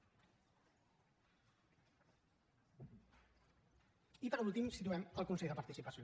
i per últim situem el consell de participació